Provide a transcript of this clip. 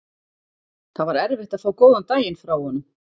Það var erfitt að fá góðan daginn frá honum.